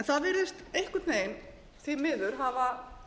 það virðist einhvern veginn því miður hafa